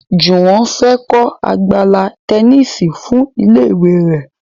Juwon fè kò Àgbàlá Tẹníìsì fún ilé ìwé rẹ.